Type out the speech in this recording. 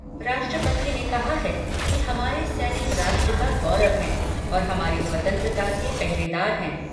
राष्ट्रपति ने कहा है कि हमारे सैनिक राष्ट्र का गौरव हैं और हमारी स्वतंत्रता के पहरेदार हैं।